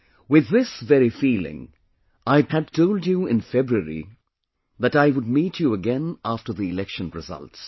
With this very feeling, I had told you in February that I would meet you again after the election results